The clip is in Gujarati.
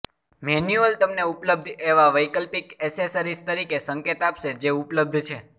મેન્યુઅલ તમને ઉપલબ્ધ એવા વૈકલ્પિક એસેસરીઝ તરીકે સંકેત આપશે જે ઉપલબ્ધ છે